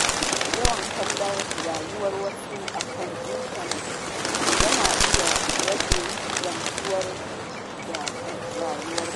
Yawan kallon rayuwar wasu a kan intanet na iya rage gamsuwa da rayuwarka.